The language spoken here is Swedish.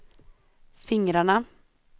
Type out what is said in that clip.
fingrarna